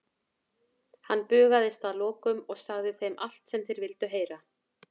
Hann bugaðist að lokum og sagði þeim allt sem þeir vildu heyra.